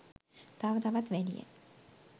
තව තවත් වැඩිය.